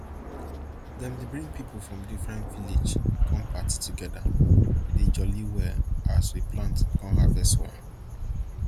dem dey bring pipo from different village come party together dey jolly well as we plant con harvest well